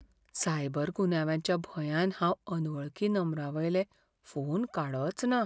Cyber गुन्यांवाच्या भंयान हांव अनवळखी नंबरांवयले फोन काडचना.